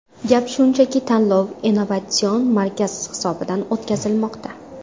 Gap shundaki, tanlov Innovatsion markaz hisobidan o‘tkazilmoqda.